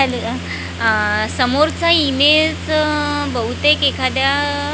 अल अ आह समोरचा इमेलचं बहुतेक एखाद्या--